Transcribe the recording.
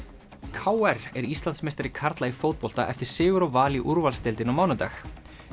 k r er Íslandsmeistari karla í fótbolta eftir sigur á Val í úrvalsdeildinni á mánudag